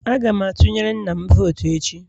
Aga m atunyere nna'm vootu echi